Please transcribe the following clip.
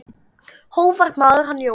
Hógvær maður, hann Jóel.